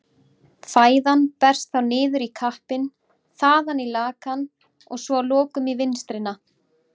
Fæðan berst þá niður í keppinn, þaðan í lakann og svo að lokum í vinstrina.